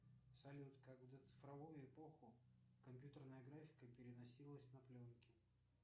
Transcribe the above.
салют как в доцифровую эпоху компьютерная графика переносилась на пленки